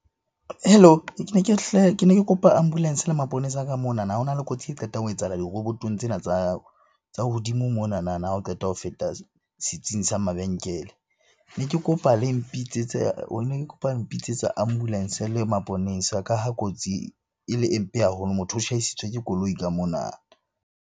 Hello? Ke ne ke ne ke kopa ambulance le maponesa ka monana. Ho na le kotsi e qetang ho etsahala dirobotong tsena tsa hodimo monanana ha o qeta ho feta setsing sa mabenkele. Ne ke kopa le mpitsetse ne ke kopa mpitsetse ambulance le maponesa ka ha kotsi e le e mpe haholo. Motho o tjhaisitswe ke koloi ka mona.